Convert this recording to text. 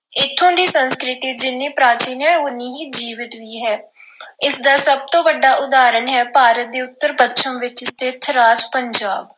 ਇੱਥੋਂ ਦੀ ਸੰਸਕ੍ਰਿਤੀ ਜਿੰਨ੍ਹੀਂ ਪ੍ਰਾਚੀਨ ਹੈ ਉਹਨੀ ਹੀ ਜੀਵੰਤ ਵੀ ਹੈ। ਇਸ ਦਾ ਸਭ ਤੋਂ ਵੱਡਾ ਉਦਾਹਰਣ ਹੈ ਭਾਰਤ ਦੇ ਉੱਤਰ-ਪੱਛਮ ਵਿੱਚ ਸਥਿਤ ਰਾਜ ਪੰਜਾਬ।